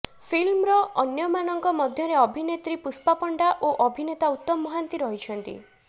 ଫିଲ୍ମରେ ଅନ୍ୟମାନଙ୍କ ମଧ୍ୟରେ ଅଭିନେତ୍ରୀ ପୁଷ୍ପା ପଣ୍ଡା ଓ ଅଭିନେତା ଉତ୍ତମ ମହାନ୍ତି ରହିଛନ୍ତି